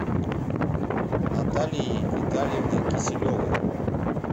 наталией витальевной киселевой